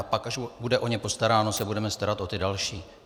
A pak, až o ně bude postaráno, se budeme starat o ty další.